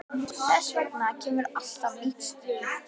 Þess vegna kemur alltaf nýtt stríð.